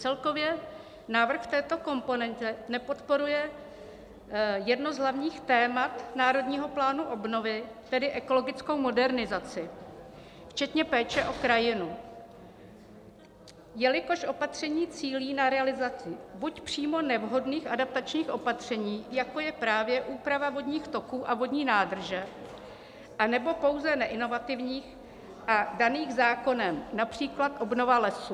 Celkově návrh v této komponentě nepodporuje jedno z hlavních témat Národního plánu obnovy, tedy ekologickou modernizaci včetně péče o krajinu, jelikož opatření cílí na realizaci buď přímo nevhodných adaptačních opatření, jako je právě úprava vodních toků a vodní nádrže, anebo pouze neinovativních a daných zákonem, například obnova lesů.